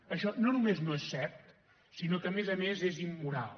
això no només no és cert sinó que a més a més és immoral